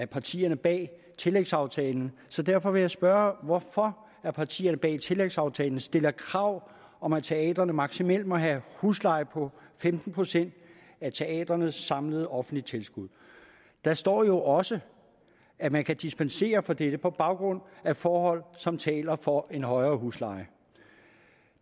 partierne bag tillægsaftalen så derfor vil jeg spørge hvorfor partierne bag tillægsaftalen stiller krav om at teatrene maksimalt må have husleje på femten procent af teatrenes samlede offentlige tilskud der står jo også at man kan dispensere fra dette på baggrund af forhold som taler for en højere husleje